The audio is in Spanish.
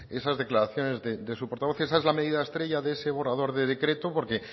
esas declaraciones de su portavoz esa es la medida estrella de ese borrador de decreto porque